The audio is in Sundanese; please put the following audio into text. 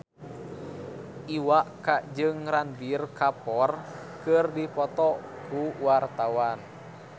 Iwa K jeung Ranbir Kapoor keur dipoto ku wartawan